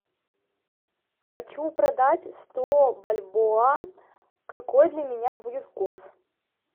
хочу продать сто бальбоа какой для меня будет курс